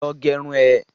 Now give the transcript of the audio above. Lọ gerun ẹ!